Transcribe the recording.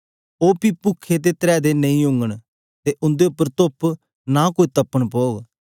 ओ पी पुखे ते त्रै दे नेई ओगन ते उंदे उपर तूप नां कोई तपन पौग